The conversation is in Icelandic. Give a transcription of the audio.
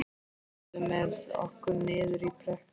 Kemurðu með okkur niður í brekku?